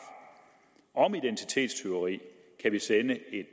om identitetstyveri kan vi sende et